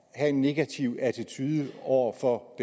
have en negativ attitude over for